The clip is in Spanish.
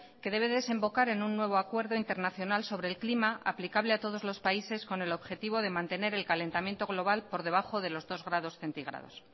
que debe desembocar en un nuevo acuerdo internacional sobre el clima aplicable a todos los países con el objetivo de mantener el calentamiento global por debajo de los dos grados centígrados